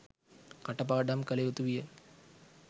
කට පාඩම් කළ යුතු විය.